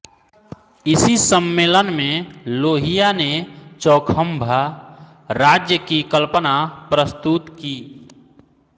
इसी सम्मेलन में लोहिया ने चौखंभा राज्य की कल्पना प्रस्तुत की